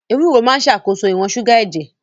Ewúro máa ń ṣàkóso ìwọ̀n ṣúgà ẹ̀jẹ̀.